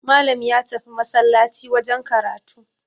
Malam ya tafi masallaci wajen karatu